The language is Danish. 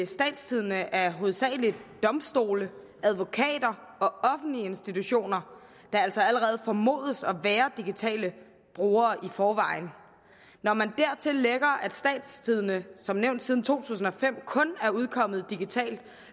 statstidende er hovedsagelig domstole advokater og offentlige institutioner der altså allerede formodes at være digitale brugere i forvejen når man dertil lægger at statstidende som nævnt siden to tusind og fem kun er udkommet digitalt